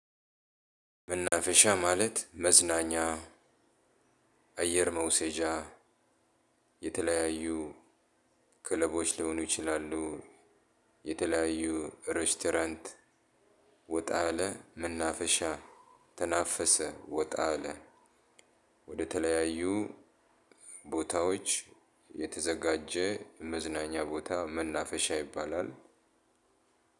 መናፈሻ ማለት መዝናኛ አየር መውሰጃ የተለያዩ ክለቦች ሊሆኑ ይችላሉ። የተለያዩ ሬስቶራንት ወጣ ያለ መናፈሻ ተናፈሰ ወጣ አለ። ወደተለያዩ ቦታዎች የተዘጋጀ መዝናኛ ቦታ መናፈሻ ይባላል።